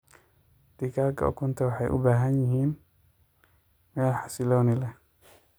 Digaaga ukunta waxay u baahan yihiin meel xasillooni leeh.